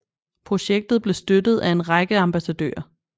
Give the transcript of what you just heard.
Projektet blev støttet af en række ambassadører